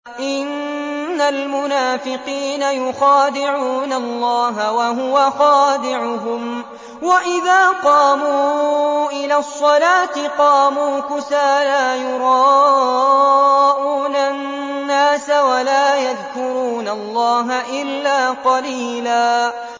إِنَّ الْمُنَافِقِينَ يُخَادِعُونَ اللَّهَ وَهُوَ خَادِعُهُمْ وَإِذَا قَامُوا إِلَى الصَّلَاةِ قَامُوا كُسَالَىٰ يُرَاءُونَ النَّاسَ وَلَا يَذْكُرُونَ اللَّهَ إِلَّا قَلِيلًا